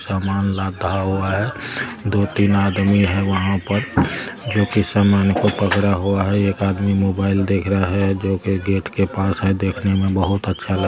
सामान लाता हुआ है दो तीन आदमी है वहां पर जो की सामान को पकड़ा हुआ है एक आदमी मोबाइल देख रहा है जो कि गेट के पास है देखने में बहुत अच्छा लगा।